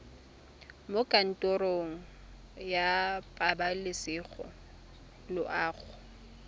mo kantorong ya pabalesego loago